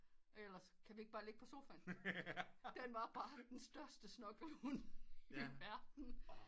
Ellers kan vi ikke bare ligge på sofaen den var bare den største snuggle hund i verden